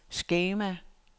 skema